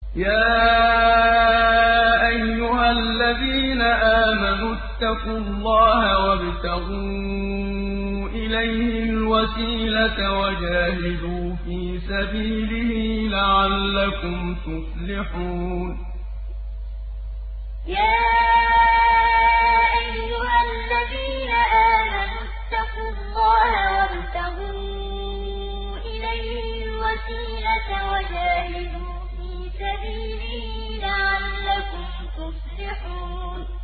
يَا أَيُّهَا الَّذِينَ آمَنُوا اتَّقُوا اللَّهَ وَابْتَغُوا إِلَيْهِ الْوَسِيلَةَ وَجَاهِدُوا فِي سَبِيلِهِ لَعَلَّكُمْ تُفْلِحُونَ يَا أَيُّهَا الَّذِينَ آمَنُوا اتَّقُوا اللَّهَ وَابْتَغُوا إِلَيْهِ الْوَسِيلَةَ وَجَاهِدُوا فِي سَبِيلِهِ لَعَلَّكُمْ تُفْلِحُونَ